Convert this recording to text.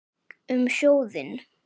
Um sjóðinn